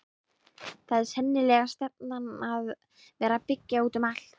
Það er sennilega stefnan að vera byggja út um allt?